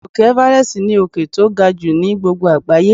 Òkè everest ní òkè tó ga jù ni gbogbo àgbáyé.